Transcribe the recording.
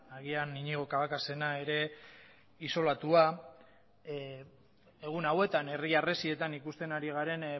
agian iñigo cabacasena ere isolatua egun hauetan herri harresietan ikusten ari garen